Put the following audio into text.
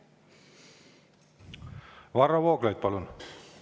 Varro Vooglaid, palun!